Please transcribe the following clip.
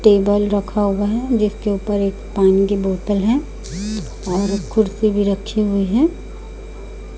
Table रखा हुआ है जिसके ऊपर एक पानी की बोतल है और कुर्सी भी रखे हुए हैं।